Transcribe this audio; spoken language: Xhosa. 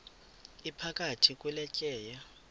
iphakathi kule tyeya